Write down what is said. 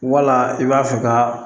Wala i b'a fɔ ka